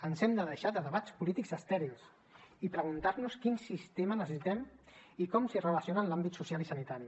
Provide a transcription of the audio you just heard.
ens hem de deixar de debats polítics estèrils i preguntar nos quin sistema necessitem i com s’hi relaciona en l’àmbit social i sanitari